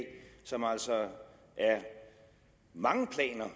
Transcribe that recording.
som altså er mange planer